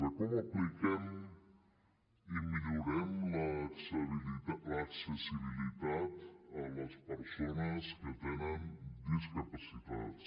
de com apliquem i millorem l’accessibilitat a les persones que tenen discapacitats